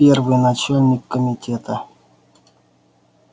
первый начальник комитета